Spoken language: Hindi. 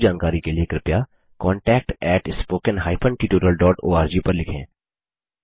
अधिक जानकारी के लिए कृपया contactspoken tutorialorg पर लिखें